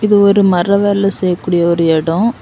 இது ஒரு மர வேலை செய்யக்கூடிய ஒரு எடோ.